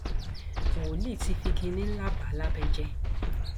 wòlíì ti fi kínní ńlá bà á lábẹ jẹ